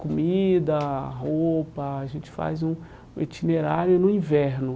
Comida, roupa, a gente faz um um itinerário no inverno.